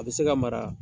A bɛ se ka mara